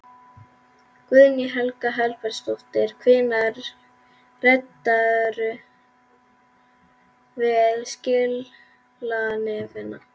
Guðný Helga Herbertsdóttir: Hvenær ræddirðu við skilanefndina?